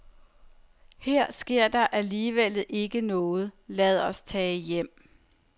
Her sker der alligevel ikke noget, lad os tage hjem.